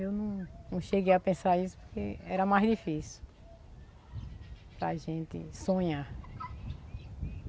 Eu não cheguei a pensar isso porque era mais difícil para gente sonhar.